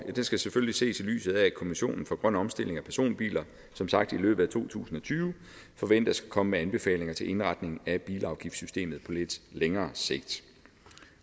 skal selvfølgelig ses i lyset af at kommissionen for grøn omstilling af personbiler som sagt i løbet af to tusind og tyve forventes at komme med anbefalinger til indretningen af bilafgiftssystemet på lidt længere sigt